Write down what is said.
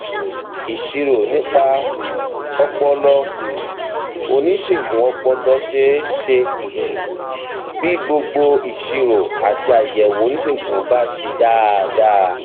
ìṣirò nípa um ọpọlọ tí um oníṣègùn ọpọlọ ṣe ṣe um bí gbogbo ìṣirò àti àyẹwò oníṣègùn bá ṣe dáadáa